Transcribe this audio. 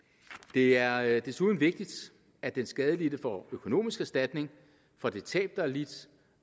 det er er desuden vigtigt at den skadelidte får økonomisk erstatning for det tab der er lidt